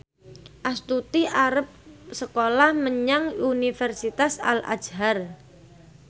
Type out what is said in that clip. Astuti arep sekolah menyang Universitas Al Azhar